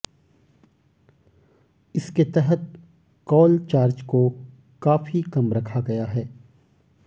इसके तहत call charge को काफी कम रखा गया है